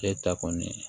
E ta kɔni ye